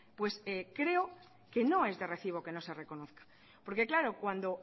pues creo que no es de recibo queno se reconozca porque claro cuando